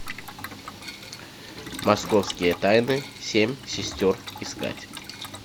московские тайны семь сестер искать